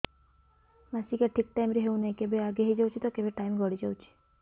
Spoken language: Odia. ମାସିକିଆ ଠିକ ଟାଇମ ରେ ହେଉନାହଁ କେବେ ଆଗେ ହେଇଯାଉଛି ତ କେବେ ଟାଇମ ଗଡି ଯାଉଛି